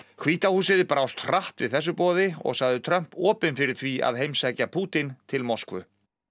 hvíta húsið brást hratt við þessu boði og sagði Trump opinn fyrir því að heimsækja Pútín til Moskvu